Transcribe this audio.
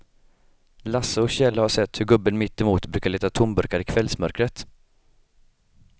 Lasse och Kjell har sett hur gubben mittemot brukar leta tomburkar i kvällsmörkret.